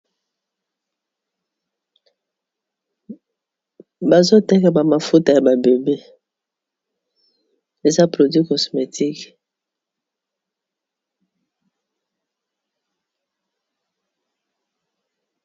Bazoteka ba mafuta ya ba bebe eza produit cosmétique.